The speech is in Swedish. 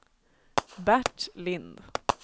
Bert Lind